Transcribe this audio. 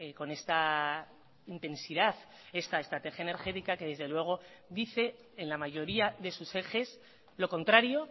con esta intensidad esta estrategia energética que desde luego dice en la mayoría de sus ejes lo contrario